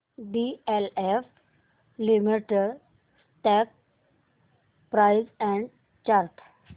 DLF limited stock price and chart